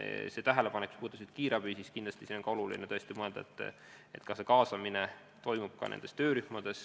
Mis puutub tähelepanekusse kiirabi kohta, siis kindlasti on oluline mõelda, kas see kaasamine toimub ka nendes töörühmades.